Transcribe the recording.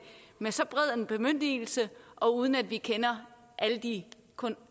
med så bred en bemyndigelse og uden at vi kender alle de